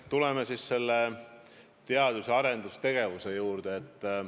Tuleme siis teadus- ja arendustegevuse juurde.